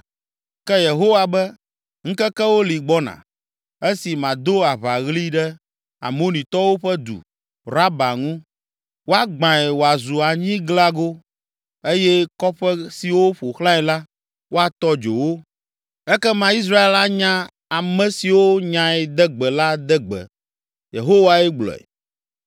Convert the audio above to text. Ke Yehowa be, “Ŋkekewo li gbɔna, esi mado aʋaɣli ɖe, Amonitɔwo ƒe du, Raba, ŋu. Woagbãe wòazu anyiglago eye kɔƒe siwo ƒo xlãe la, woatɔ dzo wo. Ekema Israel anya ame siwo nyae de gbe la de gbe,” Yehowae gblɔe.